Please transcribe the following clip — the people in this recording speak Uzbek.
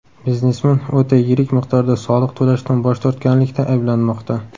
Biznesmen o‘ta yirik miqdorda soliq to‘lashdan bosh tortganlikda ayblanmoqda.